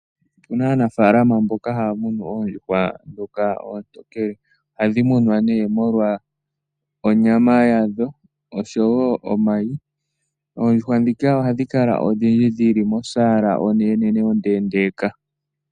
Opu na aanafaalama mboka haya munu oondjuhwa ndhoka oontokele, ohadhi munwa nee molwa onyama yadho oshowo omayi. Oondjuhwa ndhika ohadhi kala odhindji dhi li mosaala onenenene ondeendeeka.